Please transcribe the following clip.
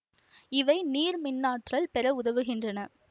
இவை நீர் மின் ஆற்றல் பெற உதவுகின்றன